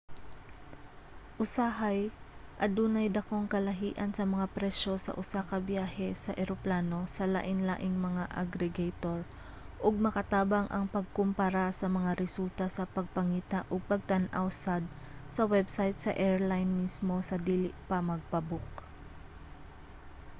usahay adunay dakong kalahian sa mga presyo sa usa ka biyahe sa eroplano sa lainlaing mga aggregator ug makatabang ang pagkumpara sa mga resulta sa pagpangita ug pagtan-aw sad sa website sa airline mismo sa dili pa magpa-book